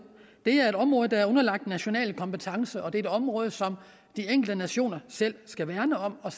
er et område der er underlagt national kompetence og det er et område som de enkelte nationer selv skal værne om og